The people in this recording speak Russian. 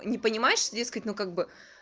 не понимаешь дескать ну как бы